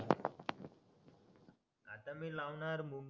आता मी लावणार मुग